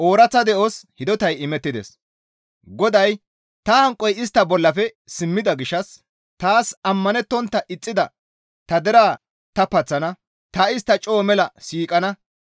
GODAY, «Ta hanqoy istta bollafe simmida gishshas taas ammanettontta ixxida ta deraa ta paththana; ta istta coo mela siiqana.